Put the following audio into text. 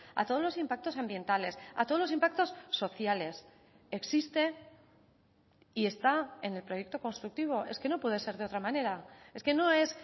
a todos los impactos ambientales a todos los impactos sociales existe y está en el proyecto constructivo es que no puede ser de otra manera es que no es